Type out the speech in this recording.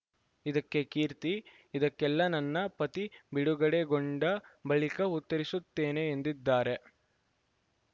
ಇದಕ್ಕೆ ಕೀರ್ತಿ ಇದಕ್ಕೆಲ್ಲ ನನ್ನ ಪತಿ ಬಿಡುಗಡೆಗೊಂಡ ಬಳಿಕ ಉತ್ತರಿಸುತ್ತೇನೆ ಎಂದಿದ್ದಾರೆ